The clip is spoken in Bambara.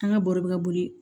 An ga bɔrɔ be ka boli